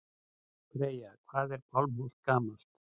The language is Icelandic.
Freyja: Hvað er Pálmholt gamalt?